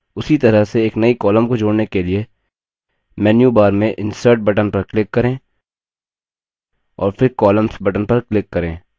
उसी तरह से एक नई column को जोड़ने के लिए मेन्यूबार में insert button पर click करें और फिर columns button पर click करें